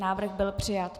Návrh byl přijat.